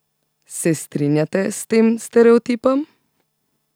Se strinjate s tem stereotipom?